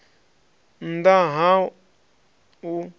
nn ḓ a ha u